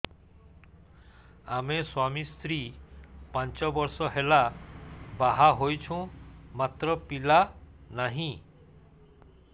ଆମେ ସ୍ୱାମୀ ସ୍ତ୍ରୀ ପାଞ୍ଚ ବର୍ଷ ହେଲା ବାହା ହେଇଛୁ ମାତ୍ର ପିଲା ନାହିଁ